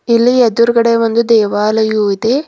ಇಲ್ಲಿ ಎದುರುಗಡೆ ಒಂದು ದೇವಾಲಯವು ಇದೆ.